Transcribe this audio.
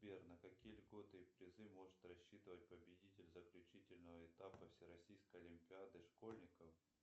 сбер на какие льготы и призы может рассчитывать победитель заключительного этапа всероссийской олимпиады школьников